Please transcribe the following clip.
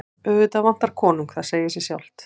Auðvitað vantar konung, það segir sig sjálft.